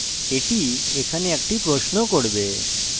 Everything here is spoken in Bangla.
এটি এখানে একটি প্রশ্ন করবে